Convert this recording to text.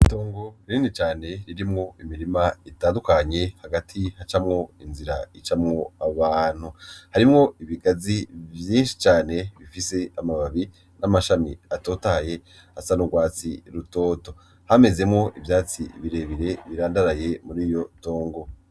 Itongo rinini cane ririmwo imirima itandukanye, hagati hacamwo inzira icamwo abantu, harimwo ibigazi vyinshi cane bifise amababi n'amashami atotahaye asa n'ugwatsi rutoto, hamezemwo ivyatsi birebire birandaraye mur'iryo tongo.